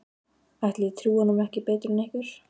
Ætli ég trúi honum ekki betur en ykkur.